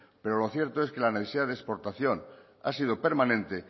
pero lo cierto es que la necesidad de exportación ha sido permanente